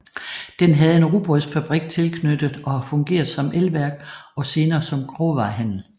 Den havde en rugbrødsfabrik tilknyttet og har fungeret som elværk og senere som grovvarehandel